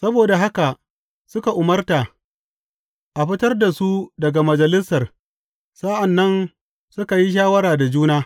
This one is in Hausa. Saboda haka suka umarta a fitar da su daga Majalisar, sa’an nan suka yi shawara da juna.